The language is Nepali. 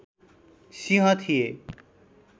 सिंह थिए